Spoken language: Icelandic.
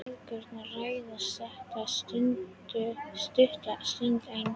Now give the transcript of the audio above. Mæðgurnar ræða þetta stutta stund enn.